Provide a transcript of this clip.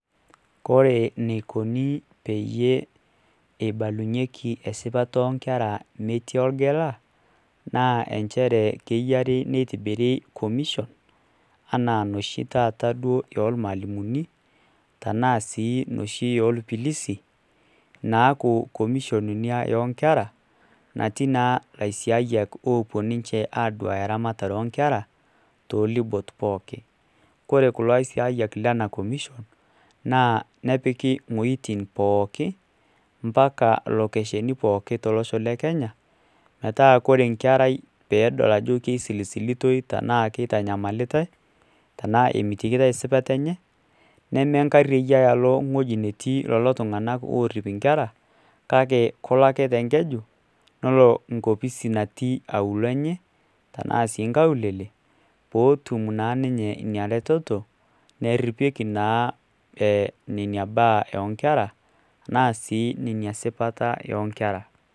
Kore neikoni peyie eibalunyie sipata oonkera metii orgela naa inchere keyiari neitobiri commission enaa noshi ormalimuni enaa noshi orpilisi naaku Commission ina oonkera natii laisiayiak oopuo naa ninche aaduaya lasiayiak oonkera toolubot pookin kore kuo aisiayiak lena kumishon naa nepiki wueitin pooki ompaka locationi pooki tolosho le kenya metaa ore nkarai peedol ajo keisisilitoi ashuu keitanyamalitai ashu emitikitoi esipata enye nemenkari eyiaya alo ewueji netii lelo oorip inkera kake kelo ake te nkeju nelo enkopisi natii auluo enye tenaa sii nkaulele pootum naa ninye ina retoto naripieki naa nkera tenaa esipata oonkera.